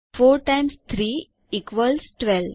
4 times 3 equals 12